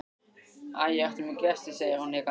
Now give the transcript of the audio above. Æ, ertu með gesti, segir hún hikandi.